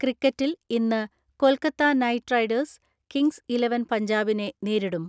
ക്രിക്കറ്റിൽ ഇന്ന് Kolkata Knight Riders Kings Eleven പഞ്ചാബിനെ നേരിടും.